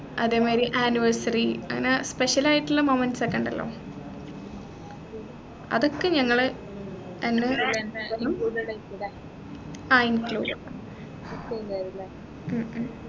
അതേമാതിരി anniversary അങ്ങന special ആയിട്ടുള്ള moments ഒക്കെ ഇണ്ടല്ലോ അതൊക്കെ ഞങ്ങള് അഹ് എന്ത് ആഹ് included മ് മ്